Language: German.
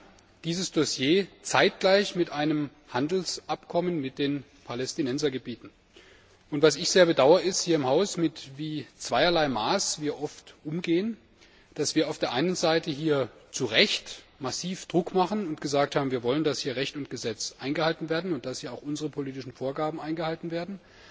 Wir hatten dieses Dossier zeitgleich mit einem Handelsabkommen mit den Palästinensergebieten zu behandeln. Was ich sehr bedaure, ist, wie wir hier im Haus oft mit zweierlei Maß umgehen, dass wir auf der einen Seite hier zu Recht massiv Druck machen und gesagt haben, wir wollen, dass hier Recht und Gesetz eingehalten werden, und dass hier auch unsere politischen Vorgaben eingehalten werden,